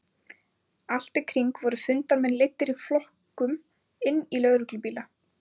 Allt í kring voru fundarmenn leiddir í flokkum inn í lögreglubíla.